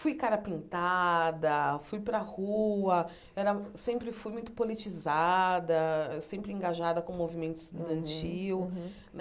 Fui cara pintada, fui para a rua, era sempre fui muito politizada, sempre engajada com o movimento estudantil. Uhum uhum